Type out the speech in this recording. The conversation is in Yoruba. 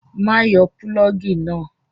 Má yọ pulọ́ọ́gì náà!